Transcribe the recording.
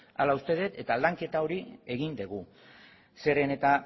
hala uste dut eta lanketa hori egin dugu zeren eta